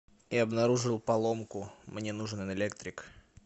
я обнаружил поломку мне нужен электрик